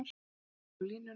Og Guðfinnur á línuna!